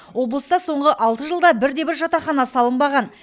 облыста соңғы алты жылда бірде бір жатақхана салынбаған